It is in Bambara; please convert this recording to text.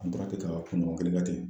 An tora ten ka kun ɲɔgɔn kelen kɛ ten